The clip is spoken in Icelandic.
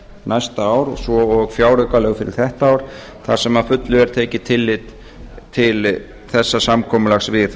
næsta ár svo og fjáraukalög fyrir þetta ár þar sem að fullu er tekið tillit til þessa samkomulags við